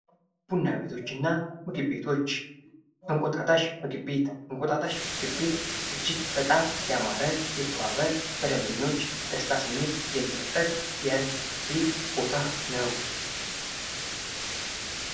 ቡና ቤቶች እና ምግብ ቤቶች ፦እንቁጣጣሽ ምግብ ቤት፦ እንቁጣጣሽ ምግብ ቤት እጅግ በጣም ያማረ የተዋበ በደንበኞች ደስታ ስሜት የሚፈጥር የምግብ ቤት ቦታ ነው።